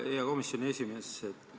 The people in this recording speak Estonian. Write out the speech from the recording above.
Hea komisjoni esimees!